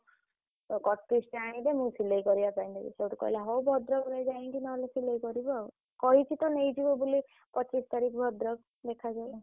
Cut piece ଟା ଆଣିବୁ ମୁଁ ସିଲେଇ କରିବା ପାଇଁ ଦେବି। କହିଲା ହଉ ଭଦ୍ରକ୍ରୁ ଯାଇକି ନହେଲେ ସିଲେଇ କରିବୁ ଆଉ କହିଛି ତ ନେଇ ଯିବ ବୋଲି ପଚିଶ୍ ତାରିଖରେ ଭଦ୍ରକ୍ ଦେଖାଯାଉ।